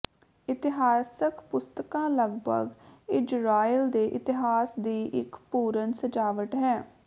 ਇਤਿਹਾਸਕ ਪੁਸਤਕਾਂ ਲਗਭਗ ਇਜ਼ਰਾਈਲ ਦੇ ਇਤਿਹਾਸ ਦੀ ਇੱਕ ਪੂਰਨ ਸਜਾਵਟ ਹੈ